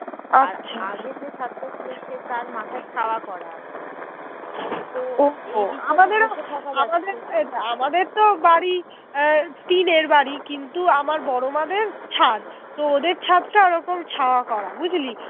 টিনের বাড়ি কিন্তু আমার বড়মাদের ছাদ তো ওদের ছাদ তা রকম ছাদ তা ওরকম ছায়া করা বুঝলি